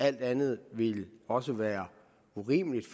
alt andet ville også være urimeligt